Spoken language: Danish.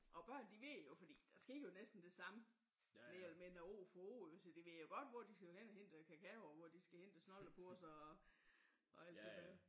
Og børn de ved jo fordi der sker jo næsten det samme mere eller mindre år for år jo. Så de ved jo godt hvor de skal gå hen og hente kakao og hvor de skal hente snolde på så og alt det